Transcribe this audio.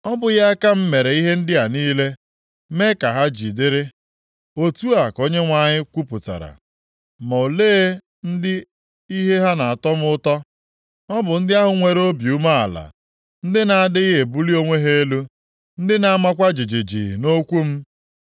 Ọ bụghị aka m mere ihe ndị a niile, mee ka ha ji dịrị? Otu a ka Onyenwe anyị kwupụtara. “Ma olee ndị ihe ha na-atọ m ụtọ, ọ bụ ndị ahụ nwere obi umeala, ndị na-adịghị ebuli onwe ha elu, ndị na-amakwa jijiji nʼokwu m.